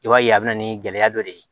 I b'a ye a bɛ na ni gɛlɛya dɔ de ye